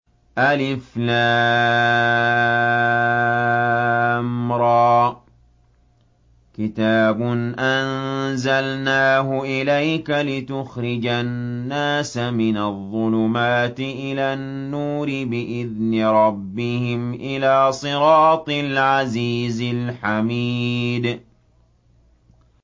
الر ۚ كِتَابٌ أَنزَلْنَاهُ إِلَيْكَ لِتُخْرِجَ النَّاسَ مِنَ الظُّلُمَاتِ إِلَى النُّورِ بِإِذْنِ رَبِّهِمْ إِلَىٰ صِرَاطِ الْعَزِيزِ الْحَمِيدِ